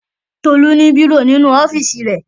Tolú ní bírò nínú ọ́fíísì rẹ̀.